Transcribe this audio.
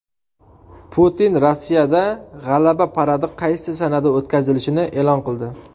Putin Rossiyada G‘alaba paradi qaysi sanada o‘tkazilishini e’lon qildi.